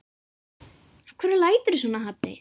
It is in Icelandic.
Af hverju læturðu svona Haddi?